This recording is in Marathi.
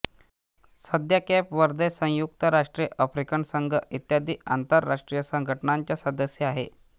सध्या केप व्हर्दे संयुक्त राष्ट्रे आफ्रिकन संघ इत्यादी आंतरराष्ट्रीय संघटनांचा सदस्य आहे